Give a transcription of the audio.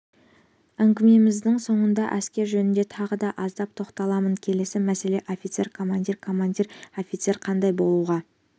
әңгімеміздің соңында әскер жөнінде тағы да аздап тоқталамын келесі мәселе офицер командир командир офицер қандай болуға